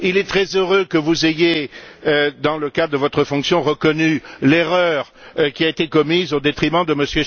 Il est très heureux que vous ayez, dans le cadre de votre fonction, reconnu l'erreur qui a été commise au détriment de M.